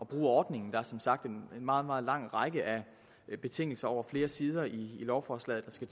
bruge ordningen der er som sagt en meget meget lang række af betingelser over flere sider i lovforslaget der skal